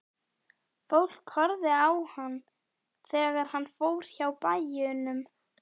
Fólk horfði á hann þegar hann fór hjá bæjum.